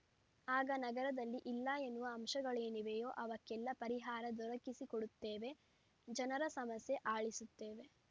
ಆಗ ನಗರದಲ್ಲಿ ಇಲ್ಲ ಎನ್ನುವ ಅಂಶಗಳೇನಿವೆಯೋ ಅವಕ್ಕೆಲ್ಲ ಪರಿಹಾರ ದೊರಕಿಸಿಕೊಡುತ್ತೇವೆ ಜನರ ಸಮಸ್ಯೆ ಆಲಿಸುತ್ತೇವೆ